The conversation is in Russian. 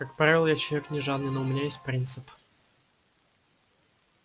как правило я человек не жадный но у меня есть принцип